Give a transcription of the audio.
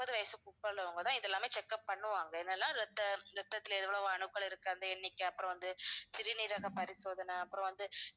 முப்பது வயசுக்கு உள்ளவங்க தான் இதெல்லாமே check up பண்ணுவாங்க என்னன்னா ரத்த~ ரத்தத்தில எவ்வளவு அணுக்கள் இருக்கு அந்த எண்ணிக்கை அப்புறம் வந்து சிறுநீரக பரிசோதனை அப்புறம் வந்து